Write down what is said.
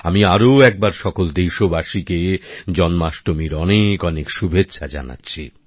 আমি আরো একবার সকল দেশবাসীকে জন্মাষ্টমীর অনেক অনেক শুভেচ্ছা জানাচ্ছি